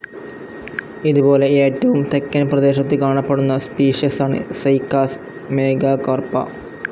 ഇതുപോലെ ഏറ്റവും തെക്കൻ പ്രദേശത്ത് കാണപ്പെടുന്ന സ്പീഷ്യസാണ് സൈക്കാസ് മേഘാകാർപ്പാ.